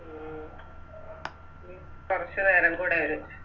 ഉം ഇനി കൊറച്ച് നേരം കൂടെ ഒരു